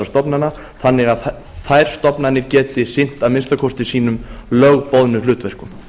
stofnana þannig að þær stofnanir geti sinnt að minnsta kosti sínum lögboðnu hlutverkum